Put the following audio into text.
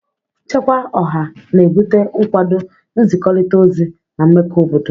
Nchekwa Ọha na-ebute nkwado, nzikọrịta ozi, na mmekọ obodo.